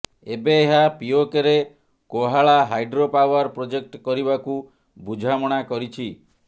ଏବେ ଏହା ପିଓକେରେ କୋହାଳା ହାଇଡ୍ରପାୱାର ପ୍ରୋଜେକ୍ଟ କରିବାକୁ ବୁଝାମଣା କରିଛି